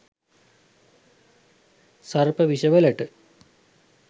සර්ප විෂ වලට